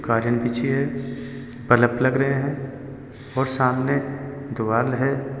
पलक लग रहे हैं और सामने द्वारा है।